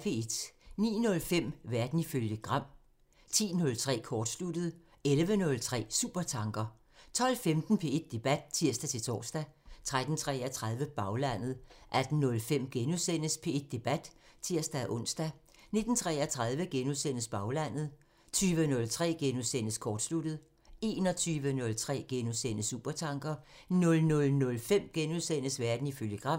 09:05: Verden ifølge Gram (tir) 10:03: Kortsluttet (tir) 11:03: Supertanker (tir) 12:15: P1 Debat (tir-tor) 13:33: Baglandet (tir) 18:05: P1 Debat *(tir-ons) 19:33: Baglandet *(tir) 20:03: Kortsluttet *(tir) 21:03: Supertanker *(tir) 00:05: Verden ifølge Gram *